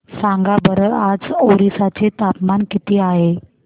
सांगा बरं आज ओरिसा चे तापमान किती आहे